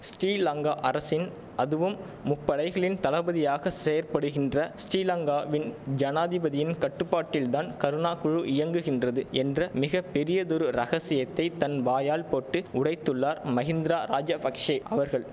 ஸ்டிலங்கா அரசின் அதுவும் முப்படைகளின் தளபதியாக செயற்படுகின்ற ஸ்டிலங்காவின் ஜனாதிபதியின் கட்டுப்பாட்டில்தான் கருணா குழு இயங்குகின்றது என்ற மிக பெரியதொரு ரகசியத்தை தன் வாயால் போட்டு உடைத்துள்ளார் மகிந்தர ராஜபக்ஷெ அவர்கள்